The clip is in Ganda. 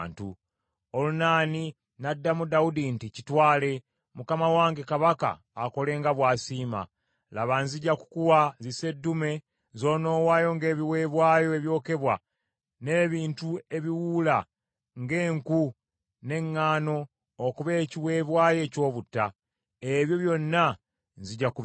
Olunaani n’addamu Dawudi nti, “Kitwale! Mukama wange kabaka akole nga bw’asiima. Laba, nzija kukuwa ziseddume z’onoowaayo ng’ebiweebwayo ebyokebwa, n’ebintu ebiwuula ng’enku, n’eŋŋaano okuba ekiweebwayo eky’obutta. Ebyo byonna nzija kubikuwa.”